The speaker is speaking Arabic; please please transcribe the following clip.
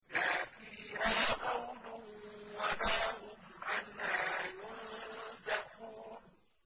لَا فِيهَا غَوْلٌ وَلَا هُمْ عَنْهَا يُنزَفُونَ